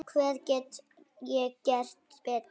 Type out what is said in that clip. Hvað get ég gert betur?